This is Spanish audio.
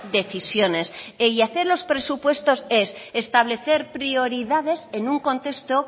decisiones y hacer los presupuestos es establecer prioridades en un contexto